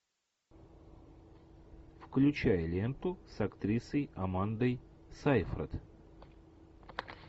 включай ленту с актрисой амандой сейфрид